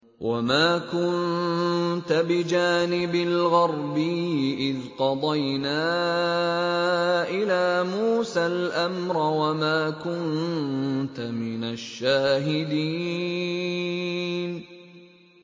وَمَا كُنتَ بِجَانِبِ الْغَرْبِيِّ إِذْ قَضَيْنَا إِلَىٰ مُوسَى الْأَمْرَ وَمَا كُنتَ مِنَ الشَّاهِدِينَ